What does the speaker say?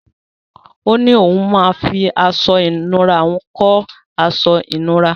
Ó ní òun máa fi aṣọ ìnura òun kọ́ ìkọ́ aṣọ ìnura.